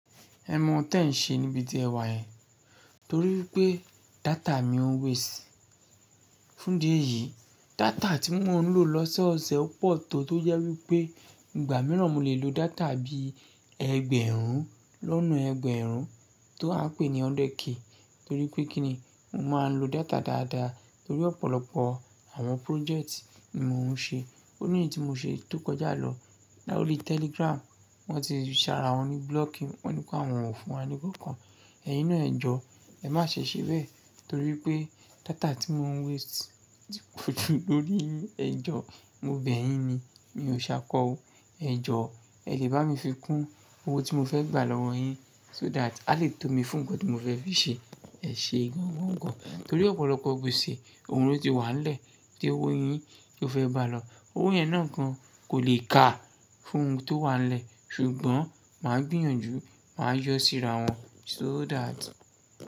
Ẹ mọ ohun tí ẹ̀ ń ṣe níbi tí ẹ wà yẹn, torí wípé data mi ń waste. Fún idí ẹ̀yì, data tí mo ń lò lọ́sẹ̀ ọsẹ̀ pọ̀ tó tó yẹ wípé ìgbà mìíràn mo lè lo data bí ẹgbẹ̀rún lọ́nà ẹgbẹ̀rún tó à ń pè ní hundred k, torí pé kí ni mo máa ń lo data dáadáa torí ọ̀pọ̀lọpọ̀ àwọn project ni mò ń ṣe. O ní eyí tí mo ṣe tó kọjá lọ. Lórí Telegram wọ́n ti rí ṣàrà wọn ní blocking, wọ́n ní pé àwọn ò fún wa ní kọ̀ọ̀kan. Ẹyin náà ẹ̀jọ, ẹ má ṣe ṣe bẹ́ẹ̀ torí pé data tí mò ń waste ò ti poju lórí yin ẹ jọ, mo bẹ̀ yín ni, mi ò ṣakọ ó. Ẹ jọ, ẹ lè bá mi fi kún owó tí mo fẹ́ gbà lọ́wọ́ yín so that a lè tò mí fún nǹkan tí mo fẹ́ fi ṣe. Ẹ ṣe gan-an wọ́n gan, torí ọ̀pọ̀lọpọ̀ igbeṣe òun ló ti wà nílẹ̀ tí owó yín tó fẹ́ bá lọ. Owó yẹn náà gan kò lè ká fún ohun tó wà nílẹ̀ ṣùgbọ́n màá gbìyànjú, màá yọ síra wọn so that.